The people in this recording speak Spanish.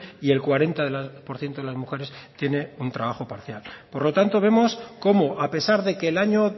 y el cuarenta por ciento de las mujeres tiene un trabajo parcial por lo tanto vemos cómo a pesar de que el año